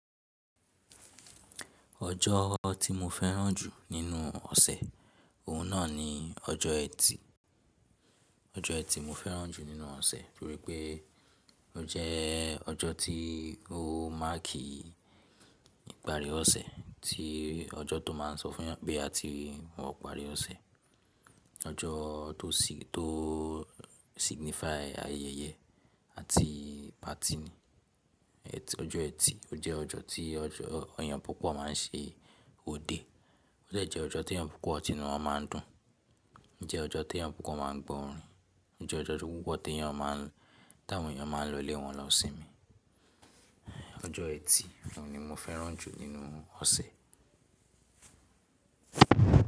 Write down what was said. Ọjọ́ tí mo fẹ́ràn jù nínú ọ̀sẹ̀, òun náà ni ọjọ́ Ẹtì. Ọjọ́ Ẹtì mo fẹ́ràn jù nínú ọ̀sẹ̀ nítorí pé ó jẹ́ ọjọ́ tí ó máàkì ìparí ọ̀sẹ̀, tí ọjọ́ tó máa ń sọ fún eeyah pé a ti wọ ìparí ọ̀sẹ̀. Ọjọ́ tó signify ayẹyẹ àti patí ni. Ẹtì, ọjọ́ Ẹtì ó jẹ́ ọjọ́ tí eyah púpọ̀ máa ń ṣe òde, ó jẹ́ ọjọ́ teyán púpọ̀ tì nu won máa ń dùn, ó jẹ́ ọjọ́ tó teyán púpọ̀ máa ń gbọ orin, ó jẹ́ ọjọ́ tó yán púpọ̀ tí àwọn èèyàn máa ń lọ ilé wọn lọ́ sínmi. Ọjọ́ Ẹtì, òun ni mo fẹ́ràn jù nínú ọ̀sẹ̀.